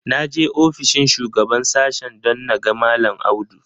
Na je ofishin shugaban sashen don na ga mallam Audu.